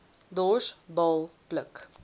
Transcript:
dors baal pluk